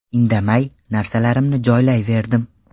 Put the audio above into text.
Indamay, narsalarimni joylayverdim.